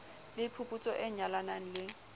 le phuputso e nyalanang le